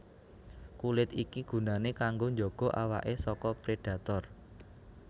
Kulit iki gunané kanggo njaga awaké saka prédhator